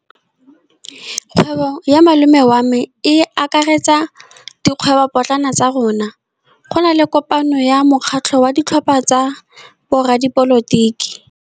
Kgwêbô ya malome wa me e akaretsa dikgwêbôpotlana tsa rona. Go na le kopanô ya mokgatlhô wa ditlhopha tsa boradipolotiki.